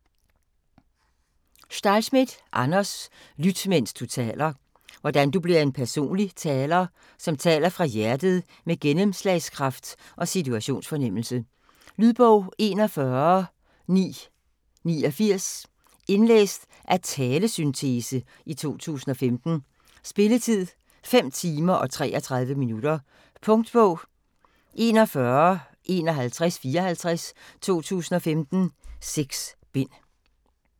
Stahlschmidt, Anders: Lyt mens du taler Hvordan du bliver en personlig taler, som taler fra hjertet med gennemslagskraft og situationsfornemmelse. Lydbog 41989 Indlæst af talesyntese, 2015. Spilletid: 5 timer, 33 minutter. Punktbog 415154 2015. 6 bind.